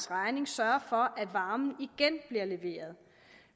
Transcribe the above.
regning sørge for at varmen igen bliver leveret